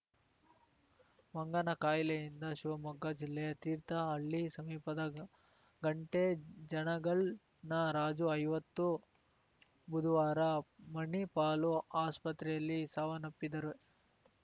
ಮಂಗನ ಕಾಯಿಲೆಯಿಂದ ಶಿವಮೊಗ್ಗ ಜಿಲ್ಲೆಯ ತೀರ್ಥಹಳ್ಳಿ ಸಮೀಪದ ಘಂಟೆ ಜನಗಲ್‌ನ ರಾಜುಐವತ್ತು ಬುದುವಾರ ಮಣಿಪಾಲು ಆಸ್ಪತ್ರೆಯಲ್ಲಿ ಸಾವನ್ನಪ್ಪಿದ್ದಾರೆ